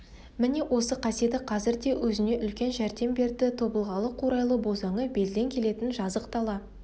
міне осы қасиеті қазір де өзіне үлкен жәрдем берді тобылғылы қурайлы бозаңы белден келетін жазық дала